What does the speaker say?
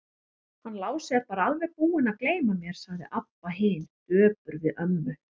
Hann Lási er bara alveg búinn að gleyma mér, sagði Abba hin döpur við ömmu.